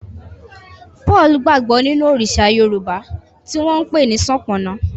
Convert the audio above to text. Paul gbagbo ninu Òrìṣà Yorùbá ti wón npè ni Sopona.